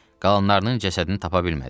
Qalanlarının cəsədini tapa bilmədik.